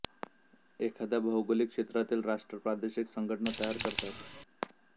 एखाद्या भौगोलिक क्षेत्रातील राष्ट्र प्रादेशिक संघटना तयार करतात